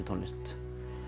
tónlist